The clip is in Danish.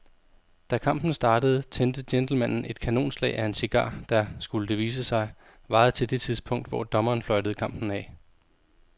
Da kampen startede tændte gentlemanen et kanonslag af en cigar, der, skulle det vise sig, varede til det tidspunkt, hvor dommeren fløjtede kampen af.